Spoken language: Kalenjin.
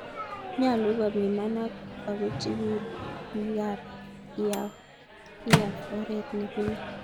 Nyalu kopiman ako chikil biik ab IAAF oret nipune.